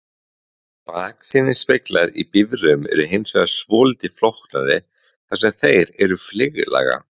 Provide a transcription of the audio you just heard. Baksýnisspeglar í bifreiðum eru hins vegar svolítið flóknari þar sem þeir eru fleyglaga.